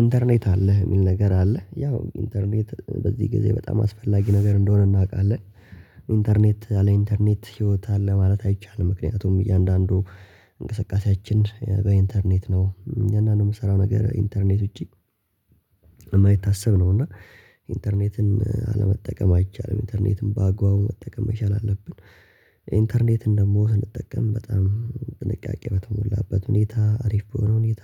ኢንተርኔት አለህ የሚል ነገር አለህ ያው ኢንተርኔት በዚህ ጊዜ በጣም አስፈላጊ ነገር እንደሆነ እናውቃለን። ኢንተርኔት ያለኢንተርኔት ህይወት አለ ማለት አይቻልም ምክንያቱም እያንዳንዱ እንቅስቃሴያችን በኢንተርኔት ነው እኛ ነው የምሰራው ነገር ኢንተርኔት ውጪ የማይታሰብ ነው እና ኢንተርኔትን አለመጠቀም አይቻልም ኢንተርኔትም በአግባቡ መጠቀም መቻል አለብን። ኢንተርኔት እንደምወስን እንጠቀም በጣም ጥንቃቄ በተሞላበት ሁኔታ አሪፍ በሆነ ሁኔታ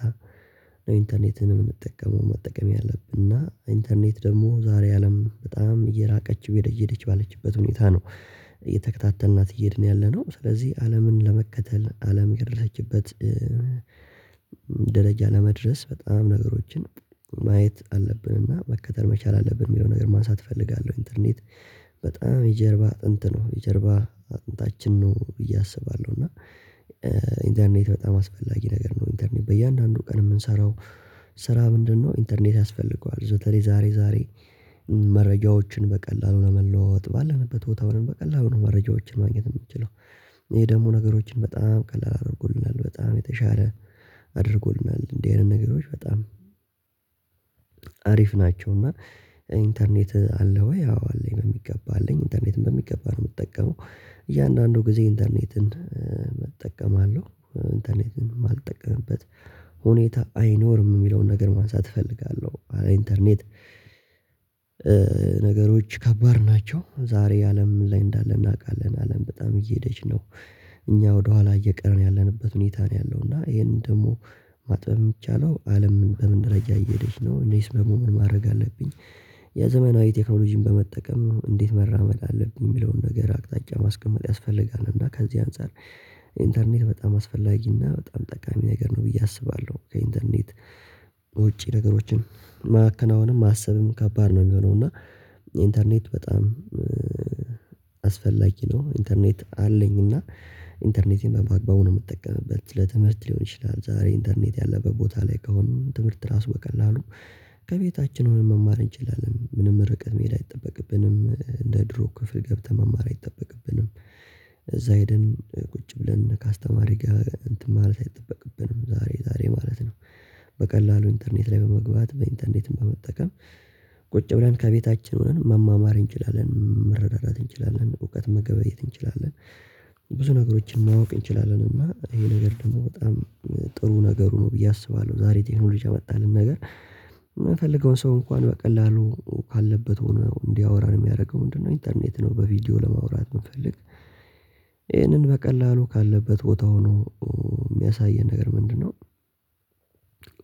ኢንተርኔትን የምንጠቀመው መጠቀም ያለብን እና ኢንተርኔት ደግሞ ዛሬ አለም በጣም እየራቀች እየሄደች ባለችበት ሁኔታ ነው። እየተከታተልናት እየሄድ ነው ያለነው ስለዚህ አለምን ለመከተል አለም የደረሰችበት ደረጃ ለመድረስ በጣም ነገሮችን ማየት አለብንና መከተል መቻል አለብን የሚለው ነገር ማንሳት እፈልጋለሁ። ኢንተርኔት በጣም የጀርባ አጥንት ነው የጀርባ አጥንታችን ነው ብዬ አስባለሁ። እና ኢንተርኔት በጣም አስፈላጊ ነገር ነው። ኢንተርኔት በእያንዳንዱ ቀን የምንሰራው ስራ ምንድነው? ኢንተርኔት ያስፈልገዋል በተለይ ዛሬ ዛሬ መረጃዎችን በቀላሉ ለመለዋወጥ ባለንበት ቦታ ምንም በቀላሉ ነው መረጃዎችን ማግኘት የምትችለው ይሄ ደግሞ ነገሮችን በጣም ቀላል አድርጎልናል በጣም የተሻለ አድርጎናል እንደዚህ አይነት ነገሮች በጣም ናቸውና። ኢንተርኔት አለ ወይ አዎ አለኝ የሚገባ አለኝ ኢንተርኔትም በሚገባ ነው የምጠቀመው። እያንዳንዱ ጊዜ ኢንተርኔትን እጠቀማለሁ ኢንተርኔትን የማልጠቀምበት ሁኔታ አይኖርም የሚለውን ነገር ማንሳት እፈልጋለሁ። ኢንተርኔት ነገሮች ከባድ ናቸው ዛሬ አለም ላይ እንዳለ እናውቃለን አለም በጣም እየሄደች ነው። እኛ ወደኋላ እየቀረን ያለንበት ሁኔታ ነው ያለው እና ይሄንን ደግሞ ማጥበብ የሚቻለው አለምን በምን ረጅም እየሄደች ነው እኔስ በመሆን ማድረግ አለብኝ። የዘመናዊ ቴክኖሎጂን በመጠቀም እንዴት መራመድ አለብኝ የሚለውን ነገር አቅጣጫ ማስቀመጥ ያስፈልጋል። እና ከዚህ አንፃር ኢንተርኔት በጣም አስፈላጊና በጣም ጠቃሚ ነገር ነው ብዬ አስባለሁ። ከኢንተርኔት ውጪ ነገሮችን ማከናወንም ማሰብም ከባድ ነው የሚሆነው እና ኢንተርኔት በጣም አስፈላጊ ነው። ኢንተርኔት አለኝ እና ኢንተርኔቴን በማግባቡ ነው የምጠቀመው ለትምህርት ሊሆን ይችላል ዛሬ ኢንተርኔት ያለበት ቦታ ላይ ከሆነ ትምህርት ራሱ በቀላሉ ከቤታችን ሆነን መማር እንችላለን ምንም ርቀት መሄድ አይጠበቅብንም። እንደ ድሮ ክፍል ገብተን መማር አይጠበቅብንም። እዛ ሄደን ቁጭ ብለን ከአስተማሪ ጋር እንትን ማለት አይጠበቅብንም ዛሬ ዛሬ ማለት ነው። በቀላሉ ኢንተርኔት ላይ በመግባት በኢንተርኔት በመጠቀም ቁጭ ብለን ከቤታችን ሆነን መማማር እንችላለን መረዳዳትት እንችላለን እውቀት መገበየት እንችላለን። ብዙ ነገሮችን ማወቅ እንችላለን እና ይሄ ነገር ደግሞ በጣም ጥሩ ነገሩ ነው ብዬ አስባለሁ። ዛሬ ቴክኖሎጂ ያመጣልን ነገር የምፈልገውን ሰው እንኳን በቀላሉ ካለበት ሆኖ እንዲያወራን የሚያደርገው ምንድነው? ኢንተርኔት ነው። በቪዲዮ ለማውራት የምፈልግ የምንፈልግ ይህንን በቀላሉ ካለበት ቦታ ሆኖ የሚያሳየን ነገር ምንድነው?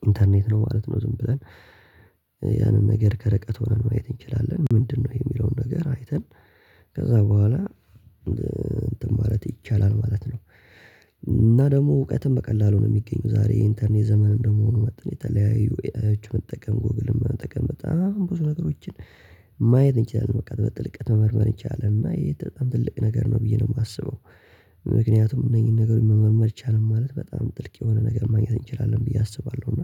ኢንተርኔት ነው ማለት ነው። ዝም ብለን ያንን ነገር ከረቀት ሆነን ማየት እንችላለን። ምንድነው? የሚለውን ነገር አይተን ከዛ በኋላ እንትን ማለት ይቻላል ማለት ነው። እና ደግሞ እውቀትም በቀላሉ ነው የሚገኘው ዛሬ የኢንተርኔት ዘመን እንደመሆኑ መጥተን የተለያዩ ኤአዮችን መጠቀም ጎግል መጠቀም በጣም ብዙ ነገሮችን ማየት እንችላለን በቃ በጥልቀት መመርመር ይቻላል እና ይሄ በጣም ትልቅ ነገር ነው ብዬ ነው የማስበው። ምክንያቱም እነዚህን ነገሮች መመርመር ይቻላል ማለት በጣም ጥልቅ የሆነ ነገር ማግኘት እንችላለን ብዬ አስባለሁ። እና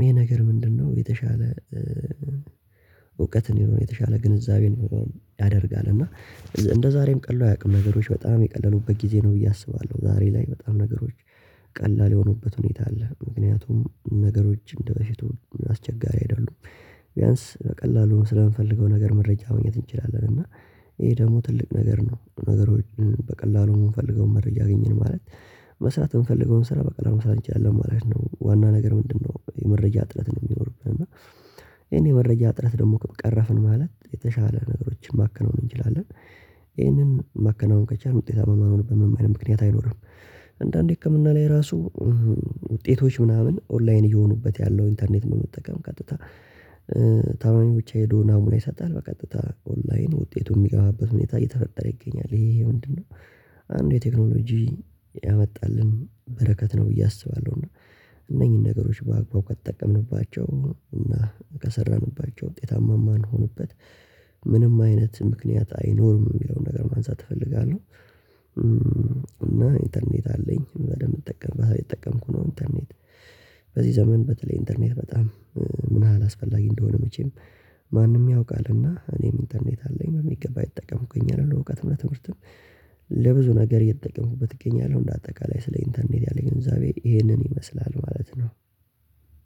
ይሄ ነገር ምንድነው? የተሻለ እውቀትን የሆነ የተሻለ ግንዛቤን ያደርጋል። እና እንደዛሬም ቀሎ አያውቅም ነገሮች በጣም የቀለሉበት ጊዜ ነው ብዬ አስባለሁ። ዛሬ ላይ በጣም ነገሮች ቀላል የሆኑበት ሁኔታ አለ ምክንያቱም ነገሮች እንደበፊቱ አስቸጋሪ አይደሉም። ቢያንስ በቀላሉ ስለምንፈልገው ነገር መረጃ መሆን እንችላለን። እና ይሄ ደግሞ ትልቅ ነገር ነው። ነገሮችን በቀላሉ የምንፈልገውን መረጃ አገኘን ማለት መስራት የምንፈልገውን ስራ በቃ ለመስራት እንችላለን ማለት ነው። ዋና ነገር ምንድነው? የመረጃ ጥረት ነው የሚኖርብን እና ይሄን የመረጃ እጥረት ደግሞ ቀረፍን ማለት የተሻለ ነገሮችን ማከናወን እንችላለን። ይሄንን ማከናወን ከቻልን ውጤታማ የማንሆንበት ምንም አይነት ምክንያት አይኖርም። አንዳንዴ ህክምና ላይ ራሱ ውጤቶች ምናምን ኦንላይን እየሆኑበት ያለው ኢንተርኔት በመጠቀም ቀጥታ ታማሚ ብቻ ሄዶ ናሙና ይሰጣል በቀጥታ ኦንላይን ውጤቱን የሚገባበት ሁኔታ እየተፈጠረ ይገኛል። ይሄ ይሄ ምንድነው? አንዱ የቴክኖሎጂ ያመጣልን በረከት ነው ብዬ አስባለሁ። እና እነኚህን ነገሮች በአግባቡ ከተጠቀምንባቸው እና ከሰራንባቸው ውጤታማ ማንሆንበት ምንም አይነት ምክንያት አይኖርም የሚለውን ነገር ማንሳት እፈልጋለሁ። እና ኢንተርኔት አለኝ በደንብ እንጠቀምበታለን እየተጠቀምኩ ነው ኢንተርኔት በዚህ ዘመን በተለይ ኢንተርኔት በጣም ምን ያህል አላስፈላጊ እንደሆነ መቼም ማንምያውቃልና እኔም ኢንተርኔት አለኝ በሚገባ እየተጠቀምኩኝ አይደል? እውቀትና ትምህርትም ለብዙ ነገር እየተተጠቀምኩበት እገኛለሁ እንደ አጠቃላይ ስለ ኢንተርኔት ያለኝ ገንዘብ ይሄንን ይመስላል ማለት ነው።